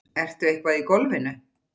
Ertu eitthvað í golfinu?